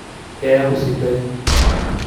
Keaku sidai.